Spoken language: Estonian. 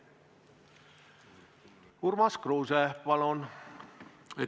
Urmas Kruuse, palun!